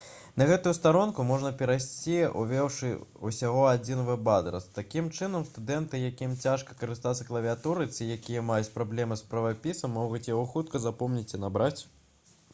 на гэтую старонку можна перайсці увёўшы ўсяго адзін вэб-адрас такім чынам студэнты якім цяжка карыстацца клавіятурай ці якія маюць праблемы з правапісам могуць яго хутка запомніць і набраць